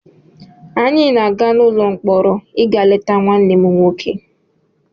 Anyị na-aga n'ụlọ mkpọrọ ịga leta nwanne m nwoke